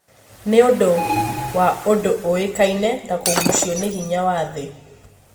nĩũndũ wa ũndũ ũĩkaine ta kugucio nĩ hinya wa thĩ